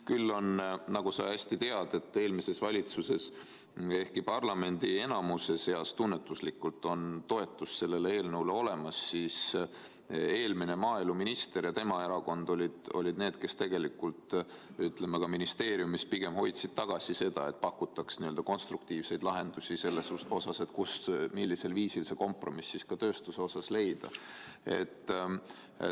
Küll oli, nagu sa hästi tead, eelmise valitsuse ajal nii, et ehkki parlamendi enamuse seas tunnetuslikult oli toetus sellele eelnõule olemas, siis eelmine maaeluminister ja tema erakond olid need, kes ministeeriumis tegelikult pigem hoidsid tagasi seda, et pakutaks konstruktiivseid lahendusi selle kohta, millisel viisil tööstusega kompromiss leida.